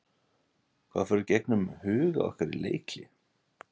Hvað fór í gegnum huga okkar í leikhlé?